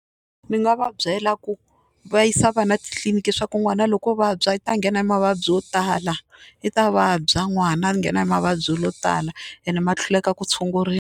Ni nga va byela ku va yisa vana titliliniki swa ku n'wana loko o vabya i ta nghena hi mavabyi yo tala i ta vabya n'wana a nghena hi mavabyi yo tala ene ma hluleka ku tshunguriwa.